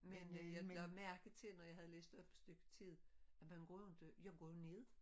Men øh jeg lagde mærke til når jeg havde læst op et stykke tid at man går ikke jeg går jo ned